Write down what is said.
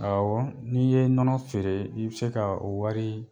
Aawɔ n'i ye nɔnɔ feere i bɛ se kaa o wari